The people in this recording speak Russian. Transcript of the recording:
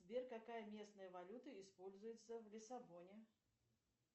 сбер какая местная валюта используется в лиссабоне